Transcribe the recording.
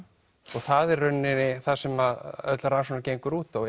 og það er í rauninni það sem öll rannsóknin gengur út á